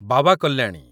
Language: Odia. ବାବା କଲ୍ୟାଣୀ